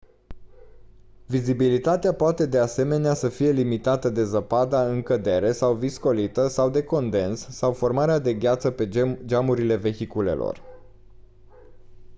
vizibilitatea poate de asemenea să fie limitată de zăpada în cădere sau viscolită sau de condens sau formarea de gheață pe geamurile vehiculelor